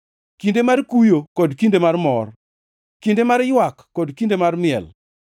kinde mar kuyo kod kinde mar mor, kinde mar ywak kod kinde mar miel,